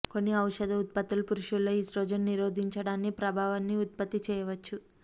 కొన్ని ఔషధ ఉత్పత్తులు పురుషుల్లో ఈస్ట్రోజెన్ నిరోధించడాన్ని ప్రభావాన్ని ఉత్పత్తి చేయవచ్చు